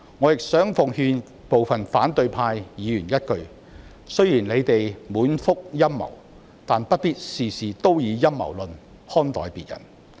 我亦想奉勸部分反對派議員一句：雖然你們滿腹陰謀，但不必事事都以陰謀論看待別人。